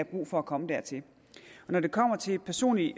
brug for at komme dertil når det kommer til den personlige